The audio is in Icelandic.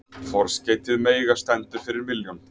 Forskeytið mega stendur fyrir milljón.